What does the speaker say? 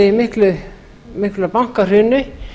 í þessu mikla bankahruni